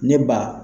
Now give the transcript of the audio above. Ne ba